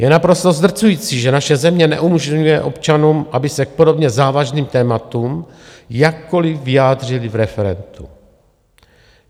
Je naprosto zdrcující, že naše země neumožňuje občanům, aby se k podobně závažným tématům jakkoli vyjádřili v referendu.